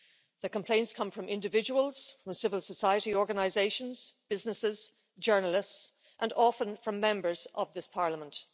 The complaints come from individuals, civil society organisations, businesses, journalists and often from Members of this Parliament.